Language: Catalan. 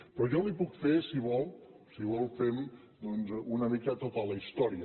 però jo li puc fer si vol si vol ho fem doncs una mica tota la història